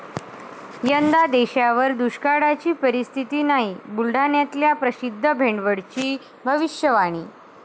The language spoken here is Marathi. यंदा देशावर दुष्काळाची परिस्थिती नाही, बुलढाण्यातल्या प्रसिद्ध भेंडवळची भविष्यवाणी